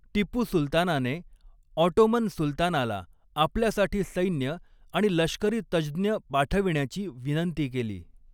टिपू सुलतानाने ऑटोमन सुलतानाला आपल्यासाठी सैन्य आणि लष्करी तज्ज्ञ पाठविण्याची विनंती केली.